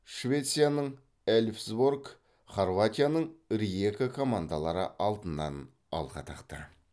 швецияның эльфсборг хорватияның риека командалары алтыннан алқа тақты